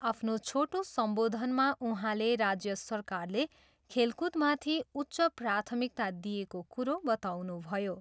आफ्नो छोटो सम्बोधनमा उहाँले राज्य सरकारले खेलकुदमाथि उच्च प्राथमिकता दिएको कुरो बताउनुभयो।